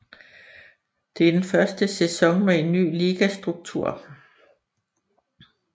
Det er den første sæson med en ny ligastruktur